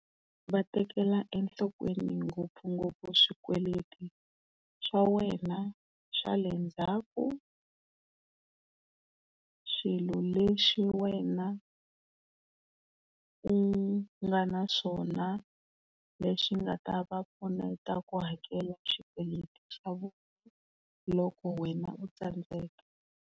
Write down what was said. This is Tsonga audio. Va tekela enhlokweni ngopfungopfu swikweleti swa wena swa le ndzhaku, swilo leswi wena u nga na swona leswi nga ta vapfuneta ku hakela xikweleti xa vona loko wena u tsandzeka.